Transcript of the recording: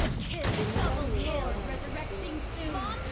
ngemibandela yawo emsebenzini